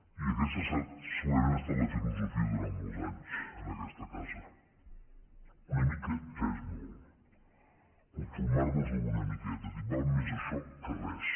i aquesta segurament ha estat la filosofia durant molts anys en aquesta casa una mica ja és molt conformar nos amb una miqueta dir val més això que res